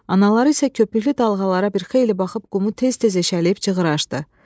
Anaları isə köpüklü dalğalara bir xeyli baxıb qumu tez-tez eşəliyib çuxur açdı.